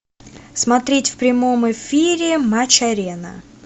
смотреть в прямом эфире матч арена